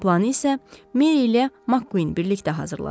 Planı isə Meri ilə MacQueen birlikdə hazırladılar.